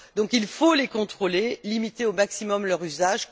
il faut donc les contrôler, limiter au maximum leur usage.